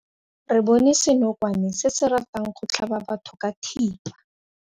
Re bone senokwane se se ratang go tlhaba batho ka thipa.